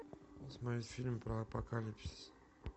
смотреть фильм про апокалипсис